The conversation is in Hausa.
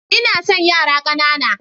Ina son yara ƙanana.